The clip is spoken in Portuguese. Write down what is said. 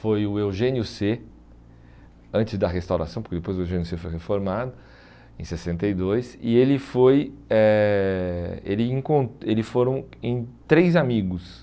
Foi o Eugênio cê, antes da restauração, porque depois o Eugênio cê foi reformado, em sessenta e dois, e ele foi eh ele encon eles foram em três amigos.